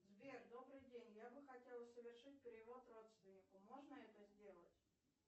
сбер добрый день я бы хотела совершить перевод родственнику можно это сделать